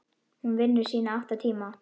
Hún vinnur sína átta tíma.